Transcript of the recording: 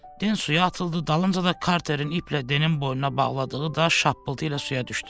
Den suya atıldı, dalınca da Karterin iplə Denin boynuna bağladığı daş şappıltı ilə suya düşdü.